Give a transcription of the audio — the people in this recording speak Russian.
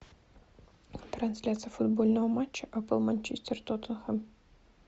трансляция футбольного матча апл манчестер тоттенхэм